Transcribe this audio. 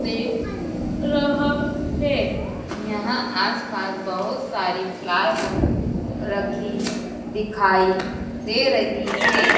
दे रहा है यहां आस-पास बहुत सारी प्लाइवुड रखी दिखाई दे रही है।